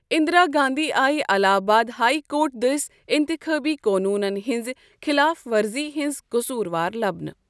اِندرا گاندھی آیہ Allahabad high court دٔسۍ انتِخٲبی قونوٗنن ہٕنٛزِ خٕلاف ورزی ہنٛز قصور وار لبنہٕ۔